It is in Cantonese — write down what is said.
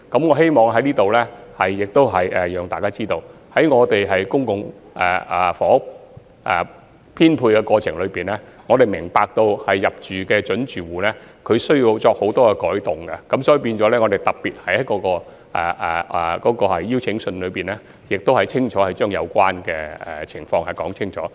我希望在此讓大家知道，在公共房屋編配的過程中，我們明白入住的準租戶需要作出許多轉變，所以在發出預配通知書時，我們特別把有關情況清楚說明。